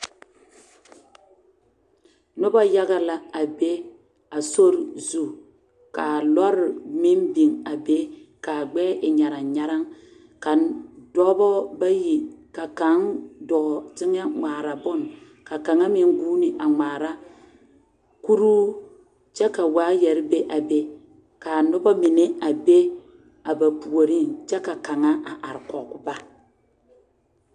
Noba yaga la a be a sori zu ka lɔre meŋ biŋ a be k,a gbɛɛ e nyaraŋ nyaraŋ ka dɔba bayi ka kaŋ dɔɔ teŋɛ ŋmaara bone ka kaŋa meŋ guuni a ŋmaara kuruu kyɛ ka waayɛre bebe ka noba mine a be a ba puoriŋ kyɛ ka kaŋa a are kɔge ba.